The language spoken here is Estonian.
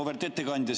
Auväärt ettekandja!